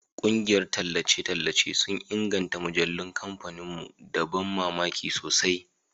Ƙungiyar tallace sun inganta mujallun kamfanin mu da ban mamaki sosai